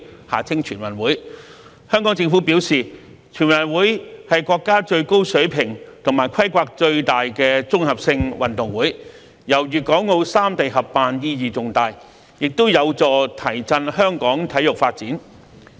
香港政府表示，全運會是國家最高水平和規模最大的綜合性運動會，由粵港澳三地合辦意義重大，也有助提振香港體育發展。